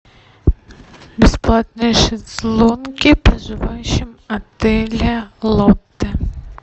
бесплатные шезлонги проживающим отеля лотте